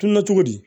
Kunna cogo di